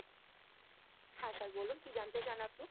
হ্যাঁ, sir বলুন কি জানতে চান আপনি?